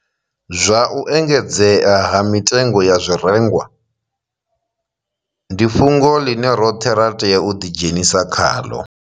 Zwa u engedzea ha mitengo ya zwirengwa ndi fhungo ḽine roṱhe ra tea u ḓidzhenisa khaḽo.